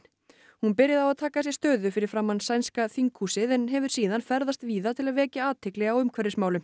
hún byrjaði á að taka sér stöðu fyrir framan sænska þinghúsið en hefur síðan ferðast víða til að vekja athygli á umhverfismálum